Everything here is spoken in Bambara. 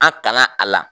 An tanga a la